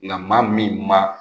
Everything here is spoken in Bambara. Nga maa min ma